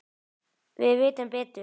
Við vitum betur